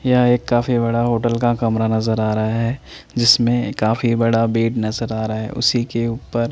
यहं एक काफी बडा होटल का कमरा नजर आ रहा है जिसमें काफी बड़ा बेड नजर आ रहा है उसी के उपर --